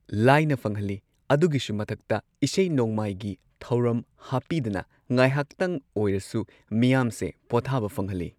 ꯂꯥꯏꯅ ꯐꯪꯍꯜꯂꯤ ꯑꯗꯨꯒꯤꯁꯨ ꯃꯊꯛꯇ ꯏꯁꯩ ꯅꯣꯡꯃꯥꯏꯒꯤ ꯊꯧꯔꯝ ꯍꯥꯞꯄꯤꯗꯅ ꯉꯥꯏꯍꯥꯛꯇꯪ ꯑꯣꯏꯔꯁꯨ ꯃꯤꯌꯥꯝꯁꯦ ꯄꯣꯊꯥꯕ ꯐꯪꯍꯜꯂꯤ